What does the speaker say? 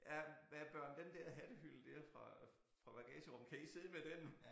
Ja hva børn den der hattehylde der fra fra bagagerummet kan I sidde med den